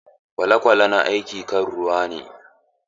Kwale-kwale na aiki kan ruwa.